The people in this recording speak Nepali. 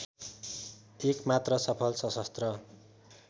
एकमात्र सफल सशस्त्र